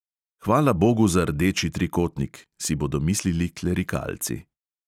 Hvala bogu za rdeči trikotnik, si bodo mislili klerikalci.